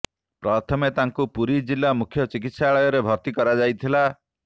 ପ୍ରଥମେ ତାଙ୍କୁ ପୁରୀ ଜିଲ୍ଲା ମୁଖ୍ୟ ଚିକିତ୍ସାଳୟରେ ଭର୍ତ୍ତି କରାଯାଇଥିଲା